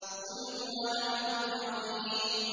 قُلْ هُوَ نَبَأٌ عَظِيمٌ